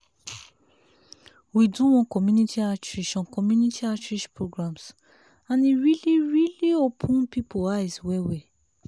we do one community outreach on community outreach programs and e really really open people eyes well well.